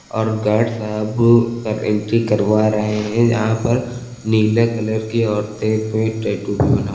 और गार्ड साहब का एंट्री करवा रहे हैं यहां पर नीला कलर की औरतें पे टैटू भी बना--